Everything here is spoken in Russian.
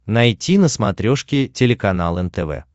найти на смотрешке телеканал нтв